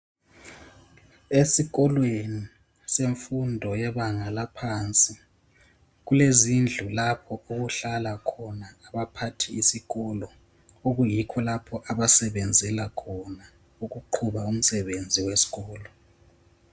Esikolweni semfundo yebanga laphansi kulezindlu lapho ukuhlala khona abaphathi besikolo, okuyikho lapho abasebenzela khona ukuqhuba umsebenzi wesikolo.